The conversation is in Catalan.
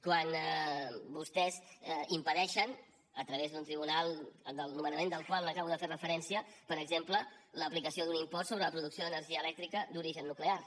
quan vostès impedeixen a través d’un tribunal al nomenament del qual acabo de fer referència per exemple l’aplicació d’un impost sobre la producció d’energia elèctrica d’origen nuclear